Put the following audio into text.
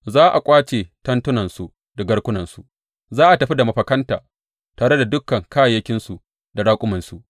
Za a ƙwace tentunansu da garkunansu; za a tafi da mafakanta tare da dukan kayayyakinsu da raƙumansu.